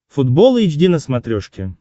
футбол эйч ди на смотрешке